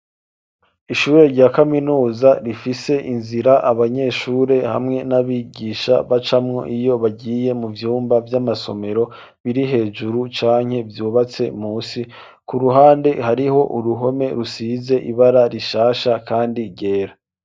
Ishure rya kaminuza rifise inzira abanyeshure hamwe n'abigisha bacamwo iyo bagiye mu vyumba by'amasomero biri hejuru canke byubatse musi ku ruhande hariho uruhome rusize ibara rishasha kandi ryera.